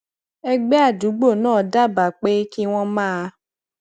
ẹgbẹ adugbo náà dábàá pé kí wọn máa